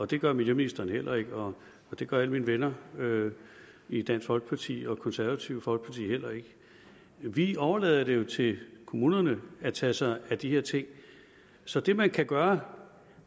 det gør miljøministeren heller ikke og det gør alle mine venner i dansk folkeparti og det konservative folkeparti heller ikke vi overlader det jo til kommunerne at tage sig af de her ting så det man kan gøre